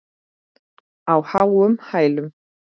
Á háum hælum.